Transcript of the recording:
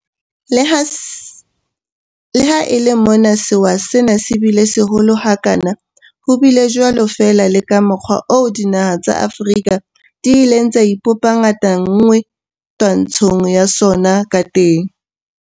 Le ha e le mona sewa sena se bile seholo ha kana, ho bile jwalo fela le ka mokgwa oo dinaha tsa Afrika di ileng tsa ipopa ngatana nngwe twantshong ya sona ka teng.